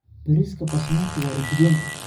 Bariiska Basmati waa udgoon.